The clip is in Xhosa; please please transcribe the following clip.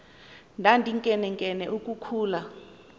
ndandinkenenkene uku khula